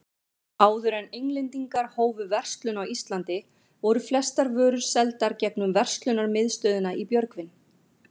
Áður en Englendingar hófu verslun á Íslandi, voru flestar vörur seldar gegnum verslunarmiðstöðina í Björgvin.